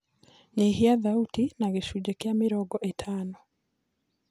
nyĩhĩa thaũtĩ na gĩcũnjĩ kĩa mĩrongo ĩtano